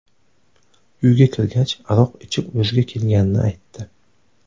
Uyga kirgach, aroq ichib o‘ziga kelganini aytdi.